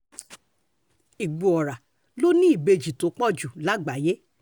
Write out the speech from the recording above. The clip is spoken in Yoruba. ìgbọ̀ọ́ra ló ní ìbejì tó pọ̀ jù lágbàáyé